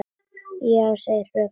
Já, segir fröken Þórunn.